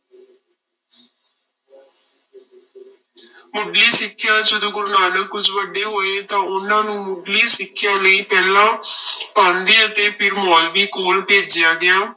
ਮੁੱਢਲੀ ਸਿੱਖਿਆ, ਜਦੋਂ ਗੁਰੂ ਨਾਨਕ ਕੁੁੱਝ ਵੱਡੇ ਹੋਏ ਤਾਂ ਉਹਨਾਂ ਨੂੰ ਮੁੱਢਲੀ ਸਿੱਖਿਆ ਲਈ ਪਹਿਲਾਂ ਪਾਂਧੇ ਅਤੇ ਫਿਰ ਮੋਲਵੀ ਕੋਲ ਭੇਜਿਆ ਗਿਆ।